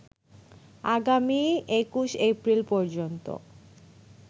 আগামী ২১ এপ্রিল পর্যন্ত